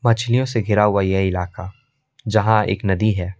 मछलियों से घिरा हुआ यह इलाका जहां एक नदी है।